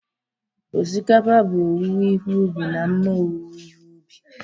Osikapa bụ owuwe ihe ubi na mma owuwe ihe ubi